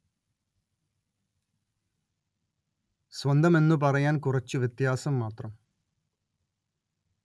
സ്വന്തം എന്നു പറയാന്‍ കുറച്ച് വ്യത്യാസം മാത്രം